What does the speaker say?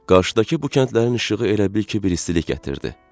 Qarşıdakı bu kəndlərin işığı elə bil ki, bir istilik gətirdi.